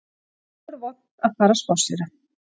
Nú er vont að fara að spásséra